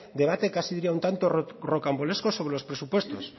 debate casi diría un tanto rocambolesco sobre los presupuestos